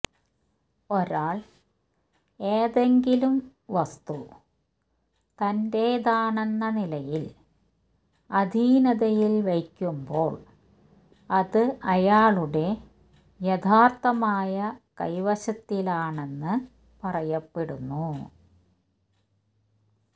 ഒരാൾ ഏതെങ്കിലും വസ്തു തന്റേതാണെന്ന നിലയിൽ അധീനതയിൽ വയ്ക്കുമ്പോൾ അത് അയാളുടെ യഥാർഥമായ കൈവശത്തിലാണെന്ന് പറയപ്പെടുന്നു